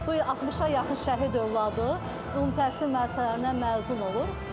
Bu 60-a yaxın şəhid övladı ümumi təhsil müəssisələrindən məzun olur.